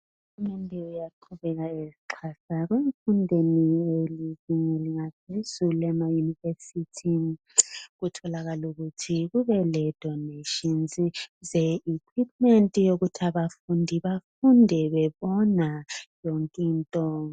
Uhulumende uyaqhubeka esixhasa emfundweni yezinga laphezulu emayunivesithi. Kutholakale ukuthi kube lokuphiwa kwezikhali ukuze abafundi bafunde bebona yonke into.